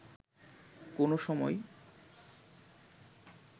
কোনো সময়